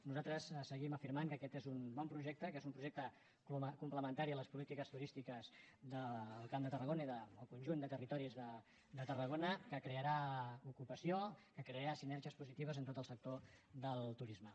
nosaltres seguim afirmant que aquest és un bon projecte que és un projecte complementari a les polítiques turístiques del camp de tarragona i del conjunt de territoris de tarragona que crearà ocupació que crearà sinergies positives en tot el sector del turisme